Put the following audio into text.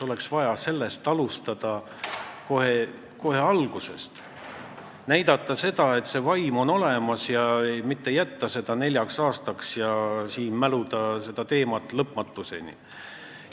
Oleks vaja kohe alguses tööd alustada ja näidata, et see vaim on olemas, mitte jätta seda teemat nelja aasta peale ja seda siin lõpmatuseni mäluda.